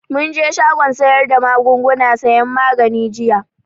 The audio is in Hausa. Mun je shagon sayar da magunguna sayan magani jiya